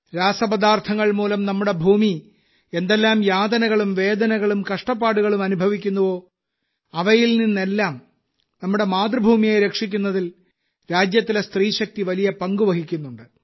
രാസപദാർത്ഥങ്ങൾ മൂലം നമ്മുടെ ഭൂമി എന്തെല്ലാം യാതനകളും വേദനകളും കഷ്ടപ്പാടുകളും അനുഭവിക്കുന്നുവോ അവയിൽ നിന്നെല്ലാം നമ്മുടെ മാതൃഭൂമിയെ രക്ഷിക്കുന്നതിൽ രാജ്യത്തിലെ സ്ത്രീശക്തി വലിയ പങ്ക് വഹിക്കുന്നുണ്ട്